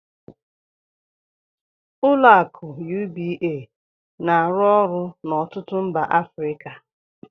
Ụlọ akụ UBA na-arụ ọrụ n'ọtụtụ mba Africa.